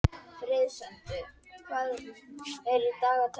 Það er því eðlilegt að finna af og til lykt nálægt öndunaropunum.